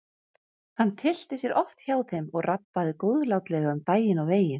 Hann tyllti sér oft hjá þeim og rabbaði góðlátlega um daginn og veginn.